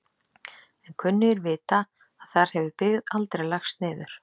En kunnugir vita að þar hefur byggð aldrei lagst niður.